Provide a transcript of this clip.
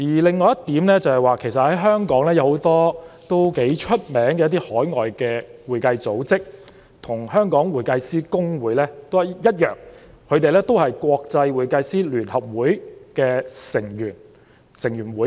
另一點是，香港有很多享負盛名的海外會計組織，跟公會一樣同屬國際會計師聯合會的成員。